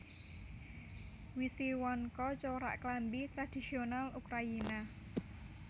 Wisiwanka corak klambi tradhisiyonal Ukrayina